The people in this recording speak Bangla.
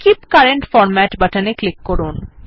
কীপ কারেন্ট ফরম্যাট বাটনে ক্লিক করুন